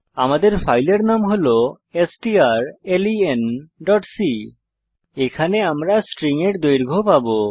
আমাদের ফাইলের নাম হল strlenসি এখানে আমরা স্ট্রিং এর দৈর্ঘ্য পাবো